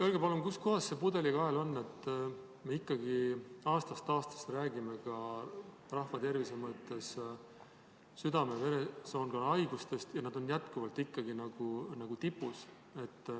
Öelge palun, kus kohas see pudelikael on, et me ikkagi aastast aastasse räägime ka rahvatervise mõttes südame-veresoonkonnahaigustest ja nad on jätkuvalt tipus.